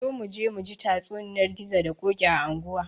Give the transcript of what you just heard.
Zo muje muji tatsuniyar gizo da ƙoki a anguwa